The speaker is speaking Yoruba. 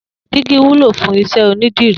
Digi wùló fùn iṣẹ ónìdirí